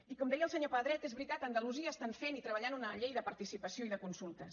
i com deia el senyor pedret és veritat a andalusia estan fent i treballant una llei de participació i de consultes